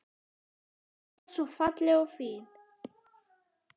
Alltaf svo falleg og fín.